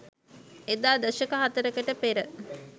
එදා දශක හතරකට පෙර